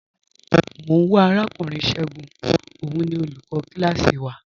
Mọ n wá Arakùnrin Ṣẹ̀gún, ọ̀un ni olúkò kílásí wà.